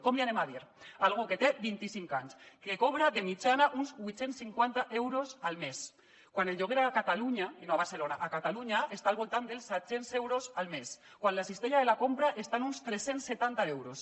com li diem a algú que té vint icinc anys que cobra de mitjana uns vuit cents i cinquanta euros al mes quan el lloguer a catalunya i no a barcelona a catalunya està al voltant dels set cents euros al mes quan la cistella de la compra està en uns tres cents i setanta euros